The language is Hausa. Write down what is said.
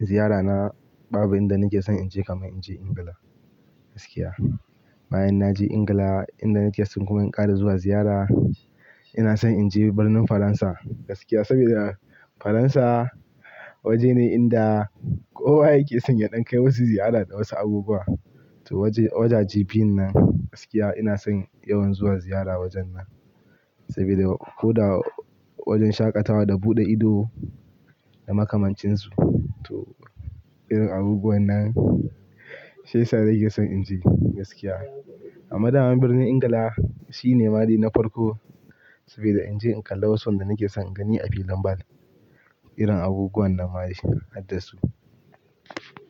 Ziyarana babu inda nake son in je kamar in je Ingila gaskiya. Bayan na je Ingila, inda nake son kuma in ƙara zuwa ziyara, ina son in je birnin Faransa gaskiya saboda Faransa waje ne inda kowa yake son ya ɗan kai musa ziyara da wasu abubuwa. To wajaje biyun nan gaskiya ina son yawan zuwa ziyara wajen nan saboda ko da wajen shaƙatawa da buɗe ido da makamancin su to irin abubuwan nan, sai sa'an nake son in je gaskiya. Amma daman Birnin Ingila shi ne ma de na farko saboda in je in kalla wasu wanda nake son in gani a filin ball, irin abubuwan nan ma shi haddasu.